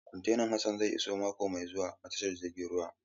Kwantenan Hassan zai iso mako mai zuwa a tashar jiragen ruwa.